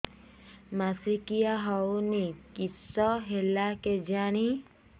ମାସିକା ହଉନି କିଶ ହେଲା କେଜାଣି